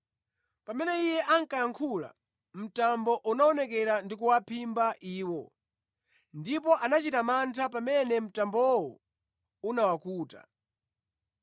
Pamene Iye ankayankhula, mtambo unaonekera ndi kuwaphimba iwo, ndipo anachita mantha pamene mtambowo unawakuta.